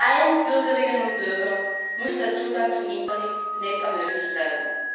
Allen Bürgerinnen und Bürgern muss der Zugang zum Internet ermöglicht werden.